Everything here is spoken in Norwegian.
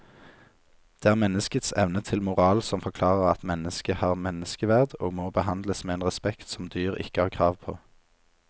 Det er menneskets evne til moral som forklarer at mennesket har menneskeverd og må behandles med en respekt som dyr ikke har krav på.